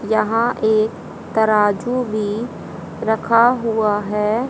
यहां एक तराजू भी रखा हुआ है।